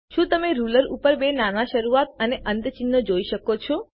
શું તમે રુલર ઉપર બે નાના શરૂઆત અને અંત ચિહ્નો જોઈ શકો છો